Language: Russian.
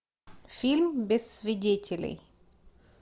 фильм без свидетелей